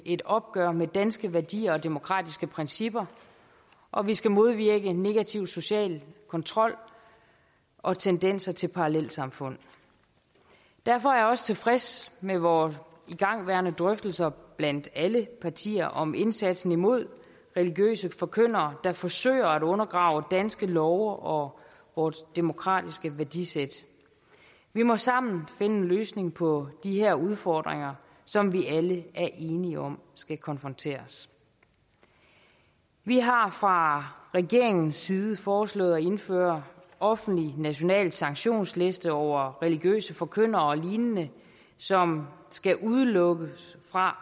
et opgør med danske værdier og demokratiske principper og vi skal modvirke negativ social kontrol og tendenser til parallelsamfund derfor er jeg også tilfreds med vores igangværende drøftelser blandt alle partier om indsatsen imod religiøse forkyndere der forsøger at undergrave danske love og vort demokratiske værdisæt vi må sammen finde en løsning på de her udfordringer som vi alle er enige om skal konfronteres vi har fra regeringens side foreslået at indføre offentlige nationale sanktionslister over religiøse forkyndere og lignende som skal udelukkes fra